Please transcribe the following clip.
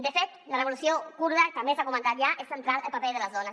de fet a la revolució kurda també s’ha comentat ja és central el paper de les dones